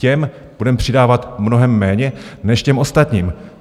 Těm budeme přidávat mnohem méně než těm ostatním.